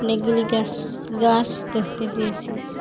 অনেকগুলি গ্যাস গাস দ্যাখতে পেয়েসি।